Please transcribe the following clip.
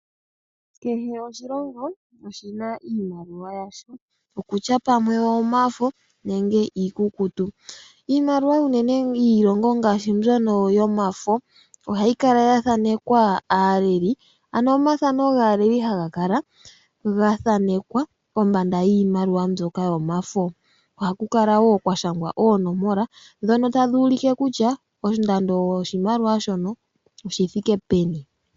Kehe oshilongo oshi na iimaliwa yasho. Okutya pamwe oyomafo nenge iikukutu. Iimaliwa unene yiilongo ngaashi mbyono yomafo ohayi kala ya thaanekwa aaleli, ano omathano gaaleli haga kala ga thaanekwa kombanda yiimaliwa mbyoka yomafo. Okutya pamwe oyomafo nenge iikukutu. Iimaliwa unene ngaashi mbyono yomafo ohayi kala ya thaanekwa aaleli, ano omathano gaaleli haga kala ga thaanekwa kombanda yiimaliwa mbyoka yomafo. Ohaku kala wo kwa shangwa onomola ndhono tadhi ulike kutya ondando yoshimaliwa shono oshi thike peni.